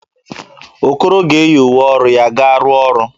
Okoro ga-eyi uwe ọrụ ya ga-arụ ọrụ.